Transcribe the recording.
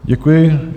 Děkuji.